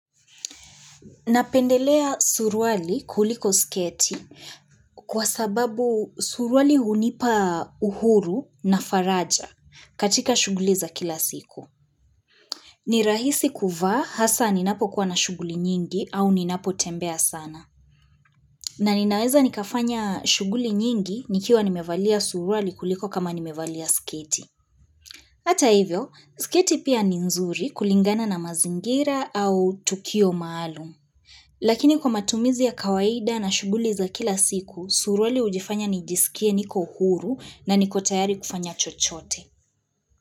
Napendelea suruali kuliko sketi kwa sababu suruali hunipa uhuru na faraja katika shughuli za kila siku. Ni rahisi kuvaa hasa ninapokuwa na shughuli nyingi au ninapotembea sana. Na ninaweza nikafanya shughuli nyingi nikiwa nimevalia suruali kuliko kama nimevalia sketi. Hata hivyo, sketi pia ni nzuri kulingana na mazingira au tukio maalum. Lakini kwa matumizi ya kawaida na shughuli za kila siku, suruali hujifanya nijisikie niko uhuru na niko tayari kufanya chochote.